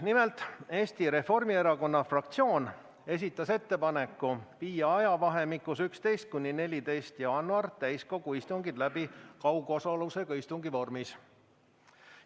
Nimelt, Eesti Reformierakonna fraktsioon esitas ettepaneku viia ajavahemikus 11.–14. jaanuar täiskogu istungid läbi kaugosalusega istungi vormis.